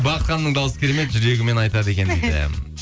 бақыт ханымның дауысы керемет жүрегімен айтады екен дейді